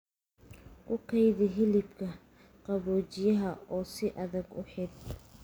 Ku kaydi hilibka qaboojiyaha oo si adag u xidh.